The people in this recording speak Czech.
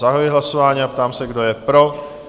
Zahajuji hlasování a ptám se, kdo je pro?